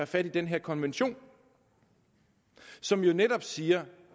fat i den her konvention som jo netop siger